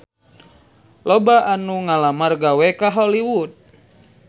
Loba anu ngalamar gawe ka Hollywood